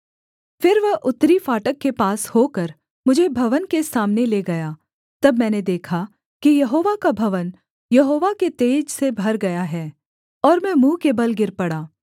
फिर वह उत्तरी फाटक के पास होकर मुझे भवन के सामने ले गया तब मैंने देखा कि यहोवा का भवन यहोवा के तेज से भर गया है और मैं मुँह के बल गिर पड़ा